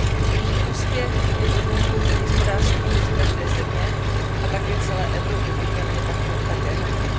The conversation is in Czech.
Jejich úspěch je podmínkou pro hospodářský růst každé země a také celé Evropy, buďme na ně také hrdí.